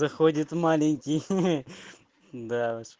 заходит маленький хе-хе да уж